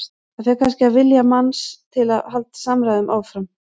Það fer kannski eftir vilja manns til að halda samræðum áfram.